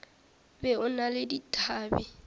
be o na le dithabe